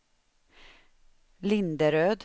Linderöd